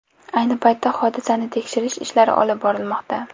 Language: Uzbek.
Ayni paytda hodisani tekshirish ishlari olib borilmoqda.